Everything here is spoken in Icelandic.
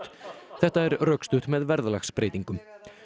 þetta er rökstutt með verðlagsbreytingum